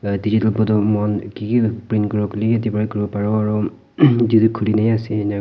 pra muan ki ki print kuriwo kuilehwi yete prahi kuriwo pariwo aro etu du khulina he asey--